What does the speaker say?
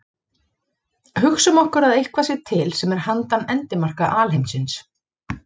Hugsum okkur að eitthvað sé til sem er handan endimarka alheimsins.